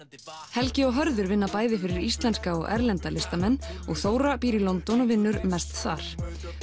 helgi og Hörður vinna bæði fyrir íslenska og erlenda listamenn og Þóra býr í London og vinnur mest þar